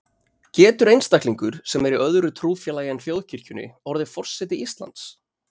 Getur einstaklingur, sem er í öðru trúfélagi en þjóðkirkjunni, orðið forseti Íslands?